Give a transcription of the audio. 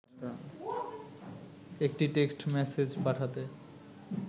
একটি text message পাঠাতে